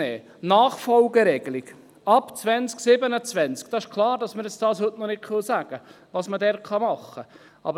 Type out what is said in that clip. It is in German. Zur Nachfolgeregelung ab 2027: Es ist klar, dass wir heute noch nicht sagen können, was man dort machen kann.